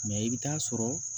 i bɛ taa sɔrɔ